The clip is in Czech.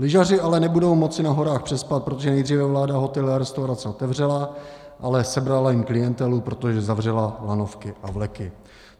Lyžaři ale nebudou moci na horách přespat, protože nejdříve vláda hotely a restaurace otevřela, ale sebrala jim klientelu, protože zavřela lanovky a vleky.